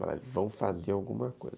eles vão fazer alguma coisa.